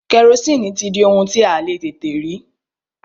Kẹrosini ti di ohun tí a le tètè rí.